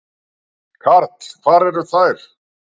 Karl: Og hvar eru þær?